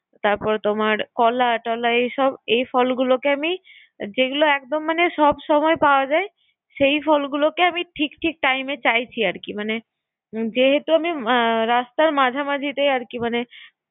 তারপরে তোমার কলা টলা এসব এই ফলগুলো কে আমি যে একদম মানে সবসময় পাওয়া যায় সেই ফলগেুলোেকে আমি ঠিক ঠিক time এ চাইছি। যেহেতু আমি রাস্তার মাঝামাঝিতে অরকি মানে